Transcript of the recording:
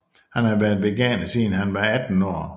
Han har været veganer siden han var 18 år